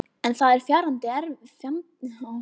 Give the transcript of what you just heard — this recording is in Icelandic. En það er fjandi erfitt að komast alla leið upp.